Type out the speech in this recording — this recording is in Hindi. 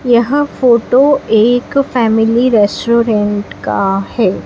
यह फोटो एक फैमिलीरेस्टोरेंट का है।